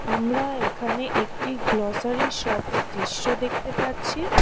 আমরা এখানে একটি গ্লোসারি শপের দৃশ্য দেখতে পারছি।